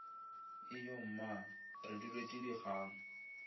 ijo mma re duletše dikgang